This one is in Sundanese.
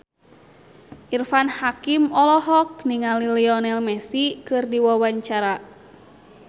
Irfan Hakim olohok ningali Lionel Messi keur diwawancara